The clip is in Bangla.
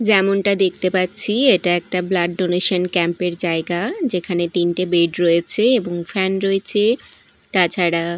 যেমনটা দেখতে পাচ্ছি এটা একটা ব্লাড ডোনেশন ক্যাম্পের -এর জায়গা যেখানে তিনটে বেড রয়েছে এবং ফ্যান রয়েছে তাছাড়া--